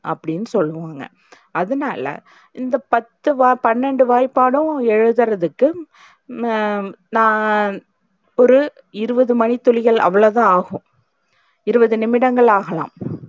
அப்டின்னு சொல்லுவாங்க, அதுனால்ல இந்த பத்து வாயி பன்னண்டு வாய்ப்பாடும் எழுதுறதுக்கு உம் ஆஹ் ஒரு இருவது மணித்துளிகள் அவ்ளோத ஆகும் இருவது நிமிடங்கள் ஆகலாம்.